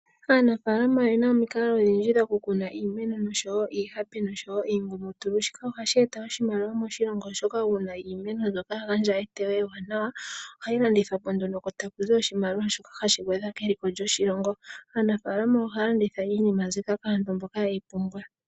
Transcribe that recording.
Aanafaalama oyena omikalo odhindji dhoku kuna iimeno oshowo iihape, oshowo iikwamboga. Shika ohashi eta oshimaliwa moshilongo oshoka uuna iimeno mbyoka ya gandjwa eteyo ewanawa ohayi landithwapo nduno ko takuzi oshimaliwa shoka hashi gwedha keliko lyoshilongo. Aanafaalama ohaya landitha iinima mbika kaantu mboka yeyi pumbwa.